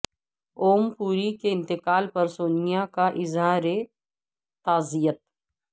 اوم پوری کے انتقال پر سونیا کا اظہار تعزیت